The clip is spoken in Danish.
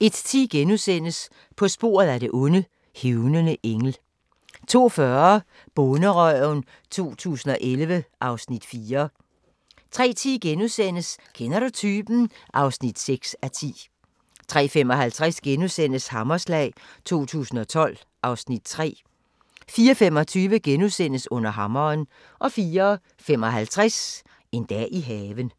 01:10: På sporet af det onde: Hævnende engel * 02:40: Bonderøven 2011 (Afs. 4) 03:10: Kender du typen? (6:10)* 03:55: Hammerslag 2012 (Afs. 3)* 04:25: Under hammeren * 04:55: En dag i haven